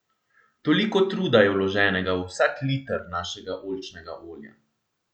Toliko truda je vloženega v vsak liter našega oljčnega olja.